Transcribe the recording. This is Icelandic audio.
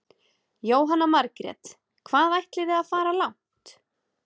Jóhanna Margrét: Hvað ætlið þið að fara langt?